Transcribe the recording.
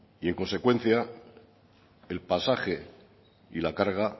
y en consecuencia el pasaje y la carga